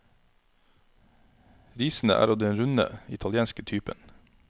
Risene er av den runde, italienske typen.